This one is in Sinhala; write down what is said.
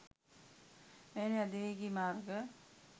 මෙවැනි අධිවේගී මාර්ග